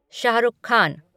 Shahrukh Khan